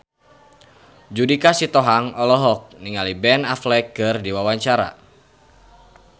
Judika Sitohang olohok ningali Ben Affleck keur diwawancara